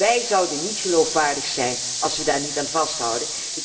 Wij zouden niet geloofwaardig zijn, als we daar niet aan vasthouden.